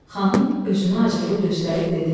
Xanım özünü acıqlı göstərib dedi: